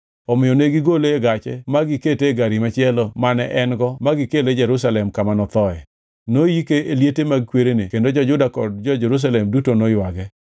Omiyo ne gigole e gache ma gikete e gari machielo mane en-go ma gikele Jerusalem kama nothoe. Noyike e liete mag kwerene kendo jo-Juda kod jo-Jerusalem duto noywage.